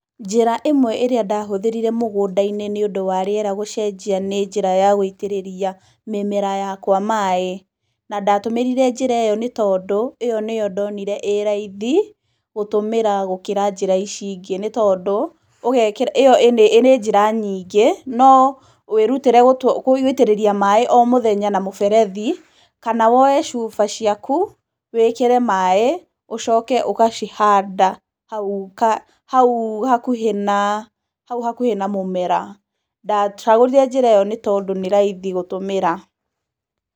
Njĩra ĩmwe ĩrĩa ndahũthĩrire mũgũnda-inĩ nĩ ũndũ wa rĩera gũcenjia nĩ njĩra ya gũitĩrĩria mĩmera yakwa maaĩ. Na ndatũmĩrire njĩra ĩyo, nĩ tondũ ĩyo nĩyo ndonire ĩ raithi gũtũmĩra gũkĩra gũtũmĩra njĩra ici ingĩ. Nĩ tondũ, ĩyo ĩrĩ njĩra nyingĩ, no wĩrutĩre gũitĩrĩria maaĩ o mũthenya na mũberethi, kana woe cuba ciaku, wĩkĩre maaĩ, ũcoke ũgacihanda hau, hau hakuhĩ na, hau hakuhĩ na mũmera. Ndacagũrire njĩra ĩyo tondũ nĩ raithi gũtũmĩra.